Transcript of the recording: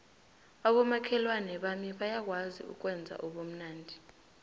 abomakhelwana bami bayakwazi ukwenza ubumnandi